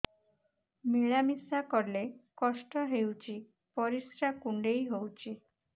ମିଳା ମିଶା କଲେ କଷ୍ଟ ହେଉଚି ପରିସ୍ରା କୁଣ୍ଡେଇ ହଉଚି